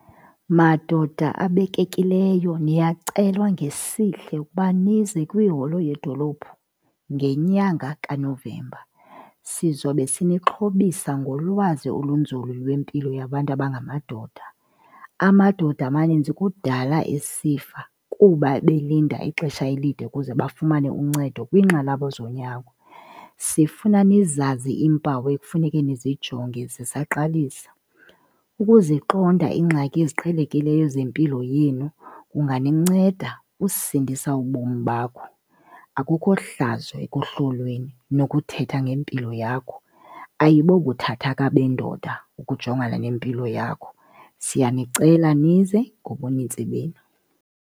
Madoda abekekileyo, niyacelwa ngesihle ukuba nize kwiholo yedolophu ngenyanga kaNovemba. Sizobe sinixhobisa ngolwazi olunzulu lwempilo yabantu abangamadoda. Amadoda amaninzi kudala esifa kuba belinda ixesha elide ukuze bafumane uncedo kwinqanaba zonyango. Sifuna nizazi iimpawu ekufuneke nizijonge zisaqalisa. Ukuziqonda iingxaki eziqhelekileyo zempilo yenu kunganinceda usindisa ubomi bakho, akukho hlazo ekuhlolweni nokuthetha ngempilo yakho, ayibobuthathaka bendoda ukujongana nempilo yakho. Siyanicela nize ngobuninzi benu.